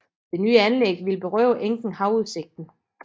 Det nye anlæg ville berøve enken havudsigten